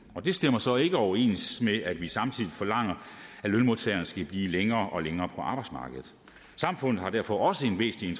det stemmer så ikke overens med at vi samtidig forlanger at lønmodtagerne skal blive længere og længere på arbejdsmarkedet samfundet har derfor også en væsentlig